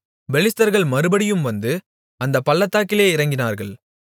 பெலிஸ்தர்கள் மறுபடியும் வந்து அந்தப் பள்ளத்தாக்கிலே இறங்கினார்கள்